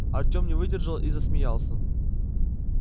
артем не выдержал и засмеялся